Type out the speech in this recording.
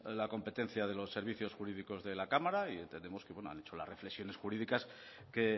la competencia de los servicios jurídicos de la cámara y bueno entendemos que han hecho las reflexiones jurídicas que